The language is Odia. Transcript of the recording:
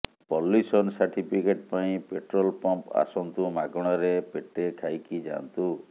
ପଲ୍ୟୁସନ ସାର୍ଟିଫିକେଟ ପାଇଁ ପେଟ୍ରୋଲ ପମ୍ପ ଆସନ୍ତୁ ମାଗଣାରେ ପେଟେ ଖାଇକି ଯାଆନ୍ତୁ